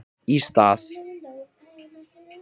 Í stað